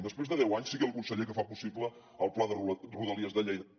després de deu anys sigui el conseller que fa possible el pla de rodalies de lleida